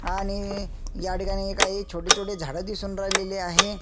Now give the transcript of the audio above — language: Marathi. आणि हे ह्या ठिकाणी काही छोटे छोटे झाड दिसून राहिलेले आहे.